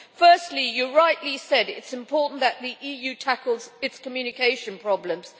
Firstly, you rightly said it is important that the EU tackles its communication problems.